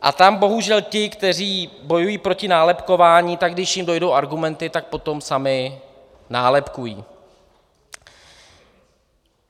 A tam bohužel ti, kteří bojují proti nálepkování, tak když jim dojdou argumenty, tak potom sami nálepkují.